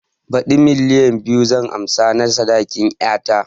Baɗi milliyan biyu zan ansa na sadakin ƴata